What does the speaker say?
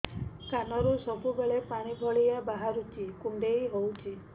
କାନରୁ ସବୁବେଳେ ପାଣି ଭଳିଆ ବାହାରୁଚି କୁଣ୍ଡେଇ ହଉଚି